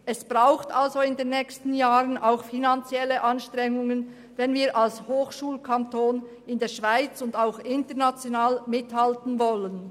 Es braucht somit in den nächsten Jahren finanzielle Anstrengungen, wenn wir als Hochschulkanton in der Schweiz und auch international mithalten wollen.